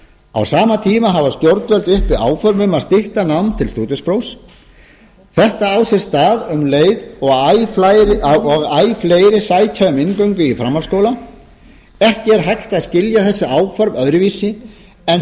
á sama tíma hafa stjórnvöld uppi áform um að stytta nám til stúdentsprófs þetta á sér stað um leið og æ fleiri sækja um inngöngu í framhaldsskóla ekki er hægt að skilja þessi áform öðruvísi en